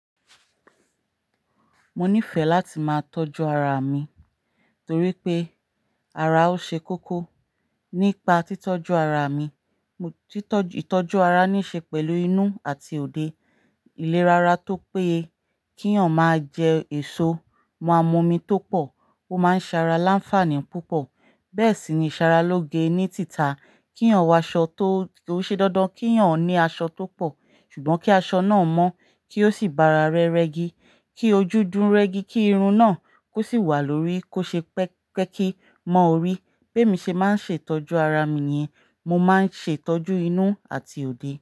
Mo nífẹ̀ẹ́ láti máa tọ́jú ara mi torí pé ara ó ṣe kókó. Nípa títọ́jú ara mi, ìtọ́jú ara níí ṣe pẹ̀lú inú àti òde. Ilé rárá tó pé kí ọ̀ máa jẹ èso, mu amọ̀omí tó pọ̀, ó máa ń ṣe ara láǹfààní púpọ̀. Bẹ́ẹ̀ sì ni ìṣaralóge ní tìta, kí ọ̀ wọ aṣọ tó ṣe dandan, kí ọ̀ ní aṣọ tó pọ̀, ṣùgbọ́n kí aṣọ náà mọ́ kí ó sì bára rẹ rẹ́gí, kí ojú dúró rẹ́gí, kí irun náà kó sì wà lórí, kó ṣe pẹ́kí. Mọ́ orí, pé mí ṣe máa ń ṣe ìtọ́jú ara mi ni, mo máa ń ṣe ìtọ́jú inú àti òde.